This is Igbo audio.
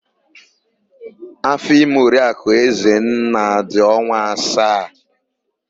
Áfọ̀ime Oriakụ Ezenna dị ọnwa asaa.